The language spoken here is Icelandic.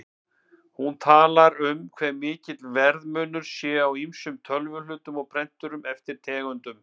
Hún talar um hve mikill verðmunur sé á ýmsum tölvuhlutum og prenturum eftir tegundum.